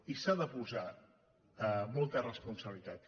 i s’hi ha de posar molta respon·sabilitat